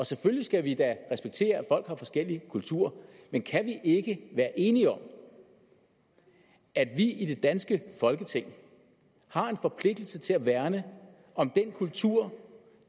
selvfølgelig skal vi da respektere at folk har forskellig kultur men kan vi ikke være enige om at vi i det danske folketing har en forpligtelse til at værne om den kultur